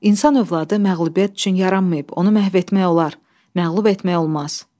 İnsan övladı məğlubiyyət üçün yaranmayıb, onu məhv etmək olar, məğlub etmək olmaz.